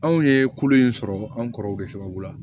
Anw ye kolo in sɔrɔ anw kɔrɔw de sababu la